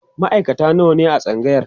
maaikata nawa ne a tsangayar?